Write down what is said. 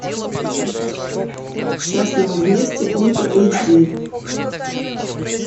счастливы вместе ультра эйч ди